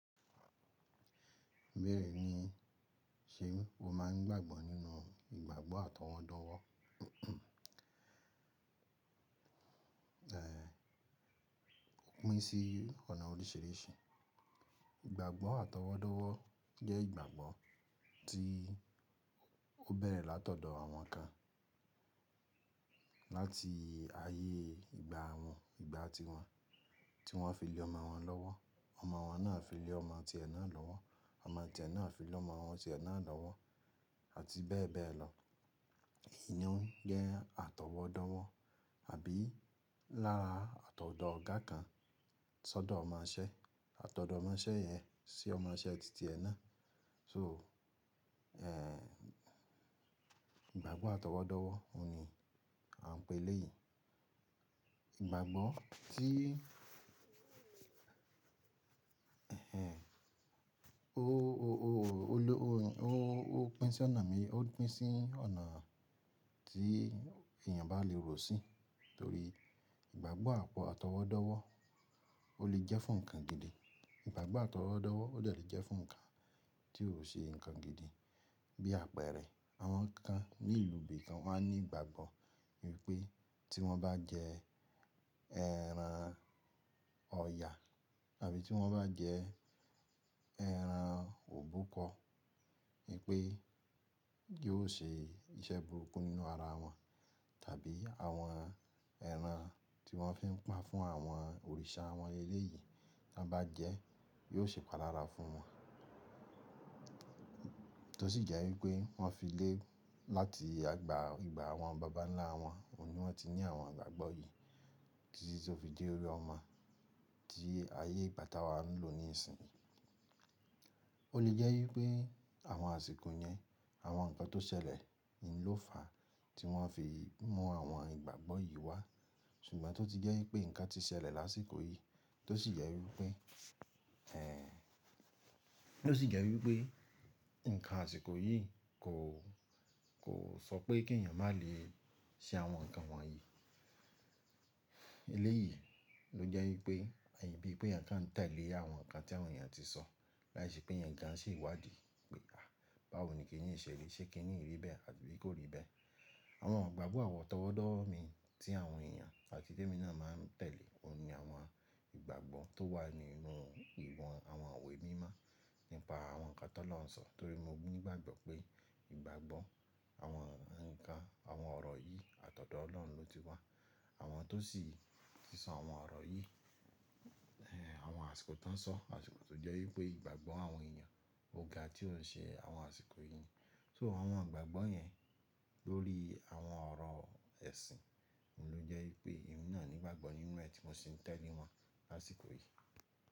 Bẹ́ẹ̀ni ṣeun, o máa ń gbàgbọ́ nínú ìgbàgbọ́ àtọwọ́dọ́wọ́ ẹ̀ pín sí ọ̀nà oríṣìíríṣìí. Ìgbàgbọ́ àtọwọ́dọ́wọ́ jẹ́ ìgbàgbọ́ tí ó bẹ̀rẹ̀ látọ̀dọ̀ àwọn kan láti ayé ìgbà wọn, ìgbà tiwọn, tí wọ́n fi lé ọmọ wọn lọ́wọ́, ọmọ wọn náà fi lé ọmọ ti ẹ náà lọ́wọ́, ọmọ ti ẹ náà fi lé ọmọ ti ẹ náà lọ́wọ́ àti bẹ́ẹ̀ bẹ́ẹ̀ lọ. Èyí ni ó ń jẹ́ àtọwọ́dọ́wọ́ àbí lára àtọ̀dọ́ ọ̀gá kan sódò ọmọṣẹ́, àtọ̀dọ́ ọmọṣẹ́ yẹn sí ọmọ iṣẹ́ títí ẹ náà. So, ìgbàgbọ́ àtọwọ́dọ́wọ́, òun ni à ń pè léyìí. Ìgbàgbọ́ tí ó, ó, ó, ó ló, ó ń, ó, ó pín sí ọ̀nà mí, ó pín sí ọ̀nà tí èèyàn bá lè rò sí, torí ìgbàgbọ́ àtọwọ́dọ́wọ́ ó lè jẹ́ fún ǹkan gidi. Ìgbàgbọ́ àtọwọ́dọ́wọ́ ó dè le jẹ́ fún ǹkan tí ò ṣe ǹkan gidi. Bí àpẹ̀rẹ̀ àwọn kan ní ìlú bí i kan máa ń ní ìgbàgbọ́ wípé tí wọ́n bá jẹ ẹran ọ̀yà àbí tí wọ́n bá jẹ ẹran òbúkọ́ wípé yóò ṣe iṣẹ́ burúkú nínú ara wọn, tàbí àwọn ẹran tí wọ́n fi ń pa fún àwọn òrìṣà àwọn eré yìí tí wọ́n bá jẹ yóò ṣe palára fún wọn. Tó sì jẹ́ wípé wọ́n fi lé láti àgbà ìgbà àwọn bàbá ńlá wọn, òun ni wọ́n ti ní àwọn ìgbàgbọ́ yìí títí tó fi dé orí ọmọ tí ayé ìbátá wa ń lò ní ìsìn yìí. Ó lè jẹ́ wípé àwọn àsìkò yẹn, àwọn ǹkan tó ṣẹlẹ̀ ni ló fà tí wọ́n fi mú àwọn ìgbàgbọ́ yìí wá. Ṣùgbọ́n tó ti jẹ́ wípé ǹkan ti ṣẹlẹ̀ lásìkò yìí, tó sì jẹ́ wípé tó sì jẹ́ wípé ǹkan àsìkò yìí kò, kò sọ pé kí èèyàn má lè ṣe àwọn ǹkan wọ̀nyí. Eléyìí ló jẹ́ wípé bí pe èèyàn kan ń tẹ̀lé àwọn ǹkan tí àwọn èèyàn ti sọ láìṣe pé ẹ̀yàn gan ṣe ìwádìí pé à báwo ni kíni yi ṣe rí, ṣé kí niyi rí bẹ́ẹ̀ àbí kò rí bẹ́ẹ̀. Àwọn ìgbàgbọ́ àtọwọ́dọ́wọ́ mii tí àwọn èèyàn àti ti èmi ná máa ń tẹ̀lé òun ni àwọn ìgbàgbọ́ tó wà nínú àwọn ìwé mímọ́ nípa àwọn nkan tolóhun sọ torí mo ní ìgbàgbọ́ pé ìgbàgbọ́ àwọn nkan àwọn ọ̀rọ̀ yìí àtọ̀dọ̀ Olóhun lóti wà. Àwọn tó sì tísọ àwọn ọ̀rọ̀ yìí àwọn àsìkò tán sọ, àsìkò tó jẹ́ wípé ìgbàgbọ́ àwọn èèyàn ò ga tí ó ṣe àwọn àsìkò yìí. So àwọn ìgbàgbọ́ yẹn lórí àwọn ọ̀rọ̀ ẹ̀sìn ni ló jẹ́ wípé emi náà ní ìgbàgbọ́ nínú ẹ tí mo sì ń tẹ̀lé wọn lásìkò yìí.